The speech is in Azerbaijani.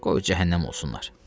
Qoy cəhənnəm olsunlar!